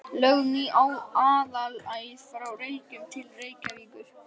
Lögð ný aðalæð frá Reykjum til Reykjavíkur.